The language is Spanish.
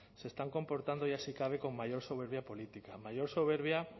se están comportando ya si cabe con mayor soberbia política mayor soberbia